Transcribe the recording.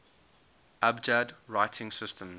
abjad writing systems